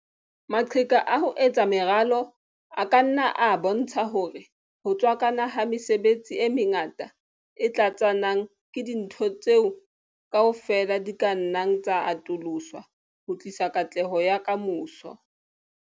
Maqheka a ho etsa meralo a ka nna a bontsha hore ho tswakana ha mesebetsi e mengata e tlatsanang ke dintho tseo kaofela di ka nnang tsa atoloswa ho tlisa katleho ya ka moso.